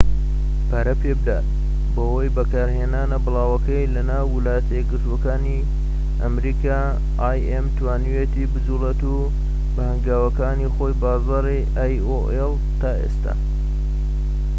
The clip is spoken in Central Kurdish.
تا ئێستا aol توانیویەتی بجووڵێت و بە هەنگاوەکانی خۆی بازاڕی im پەرە پێبدات بەهۆی بەکارهێنانە بڵاوەکەی لە ناو ویلایەتە یەکگرتووەکانی ئەمریکا